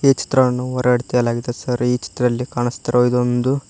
ಈ ಚಿತ್ರವನ್ನು ಹೊರಗಡೆ ತೆಗೆಯಲಾಗಿದೆ ಸರ್ ಈ ಚಿತ್ರದಲ್ಲಿ ಕಾಣುಸ್ತಿರುವುದು ಒಂದು--